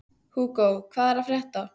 Hugo, hvað er að frétta?